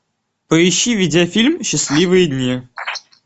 поищи видеофильм счастливые дни